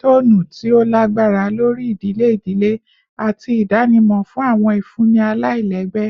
tcnu ti o lagbara lori idile idile ati idanimọ fun awọn ifunni alailẹgbẹ